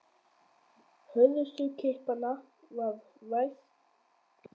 Hörðustu kippanna varð vart um nær allt land.